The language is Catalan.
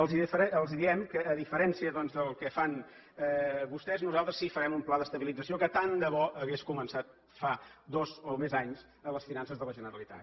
els diem que a diferència doncs del que fan vostès nosaltres sí que farem un pla d’estabilització que tant de bo hagués començat fa dos o més anys a les finances de la generalitat